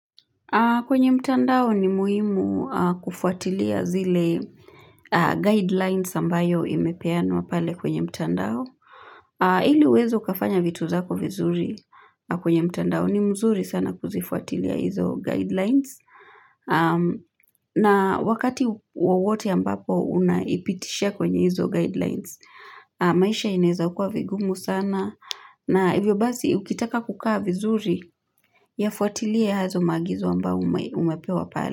Kwenye mtandao ni muhimu kufuatilia zile guidelines ambayo imepeanwa pale kwenye mtandao. Ili uweze ukafanya vitu zako vizuri kwenye mtandao ni mzuri sana kuzifuatilia hizo guidelines. Na wakati wowote ambapo unaipitishia kwenye hizo guidelines, maisha inaeza kua vigumu sana. Na hivyo basi, ukitaka kukaa vizuri, yafuatilie hazo maagizo ambayo umepewa pale.